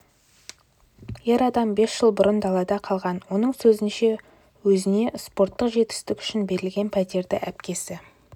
ер адам бес жыл бұрын далада қалған оның сөзінше өзіне спорттық жетістігі үшін берілген пәтерді әпкесі